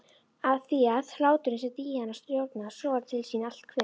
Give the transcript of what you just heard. Afþvíað hláturinn sem Díana stjórnar sogar til sín allt kvikt.